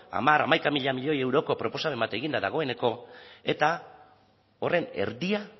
hamar hamaika mila milioi euroko proposamen bat egin da dagoeneko eta horren erdia